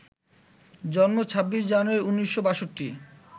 জন্ম ২৬ জানুয়ারি ১৯৬২